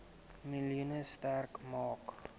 miljoen sterk maak